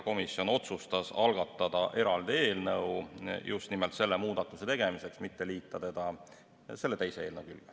Komisjon otsustas selle muudatuse tegemiseks algatada eraldi eelnõu, mitte liita seda tolle teise eelnõuga.